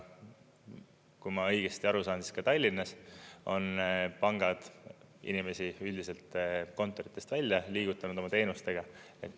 Kui ma õigesti aru sain, siis ka Tallinnas on pangad inimesi üldiselt kontoritest välja liigutanud oma teenustega.